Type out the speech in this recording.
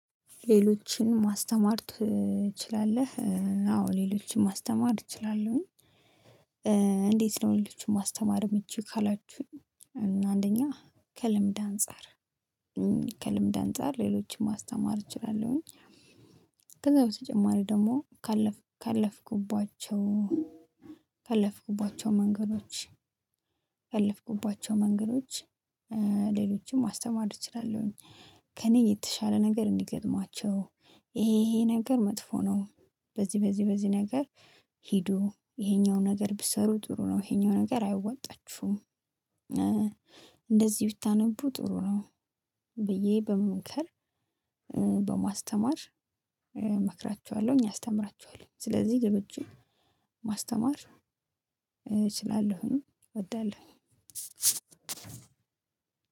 ሌሎችን ማስተማር ትችላለህ? አዎ ሌሎችን ማስተማር እችላለሁኝ። ለሁሎችው ማስተማርም እምችይው ካላችሁኝ አንደኛ ከልምድ አንፃር ከልምድ አንፃር ሌሎችን ማስተማር እችላለሁኝ። ከዛ በተጨማሪ ደግሞ ካለፍኩባቸው ካለፍኩባቸው መንገዶች ካለፍኩባቸው መንገዶች ሌሎችም ማስተማር እችላለሁኝ። ከእኔ የተሻለ ነገር እንዲገጥማቸው ይሄ ይሄ ነገር መጥፎ ነው። በዚህ በዚህ በዚህ ነገር ሂዱ ይሄኛው ነገር ብትሰሩ ጥሩ ነው ይሄኛው ነገር አያዋጣችሁም። እንደዚህ ብታነቡ ጥሩ ነው። ብዬ በመምከር በማስተማር እመክራቸዋለሁኝ አስተምራቸዋለሁኝ። ስለዚህ ሌሎችን ማስተማር እችላለሁኝ እወዳለሁኝ።